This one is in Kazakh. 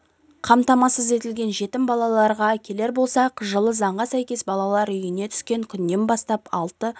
қамтамасыз етілген жетім балаларға келер болсақ жылы заңға сәйкес балалар үйіне түскен күннен бастап алты